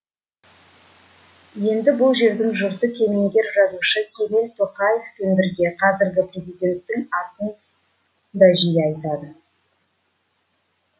енді бұл жердің жұрты кемеңгер жазушы кемел тоқаевпен бірге қазіргі президенттің атын да жиі айтады